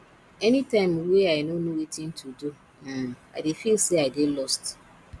anytime wey i no know wetin to do um i dey feel sey i dey lost